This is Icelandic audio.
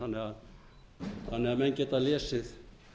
rannsóknarnefndarskýrsluna þannig að menn geta lesið